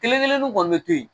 Kelen kelen nun kɔni be to yen